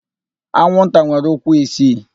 Anwụnta nwere ụkwụ isii.